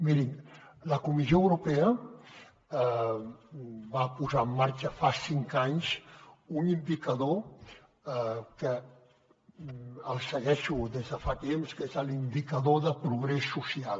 mirin la comissió europea va posar en marxa fa cinc anys un indicador que el segueixo des de fa temps que és l’indicador de progrés social